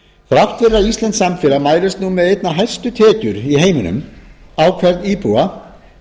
að íslenskt samfélag mælist nú með einna hæstu tekjur í heiminum á hvern íbúa